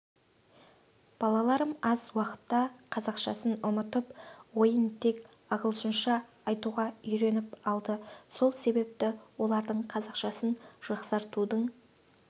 балаларым аз уақытта қазақшасын ұмытып ойын тек ағылшынша айтуға үйреніп алды сол себепті олардың қазақшасын жақсартудың